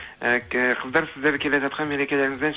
ы қыздар сіздерді келе жатқан мерекелеріңізбен